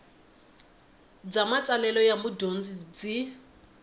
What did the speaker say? bya matsalelo ya mudyondzi byi